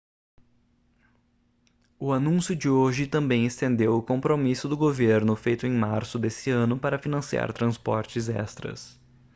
o anúncio de hoje também estendeu o compromisso do governo feito em março desse ano para financiar transportes extras